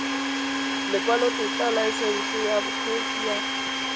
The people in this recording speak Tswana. lekwalotetla laesense ya bokgweetsi ya